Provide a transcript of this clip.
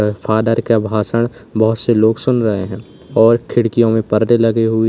father का भाषण बहुत से लोग सुन रहे हैं और खिड़कियों में पर्दे लगे हुए--